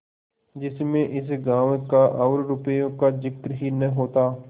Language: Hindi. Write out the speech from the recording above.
जिसमें इस गॉँव का और रुपये का जिक्र ही न होता